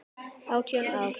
Átján ár.